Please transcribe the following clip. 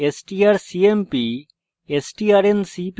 strcmp strncpy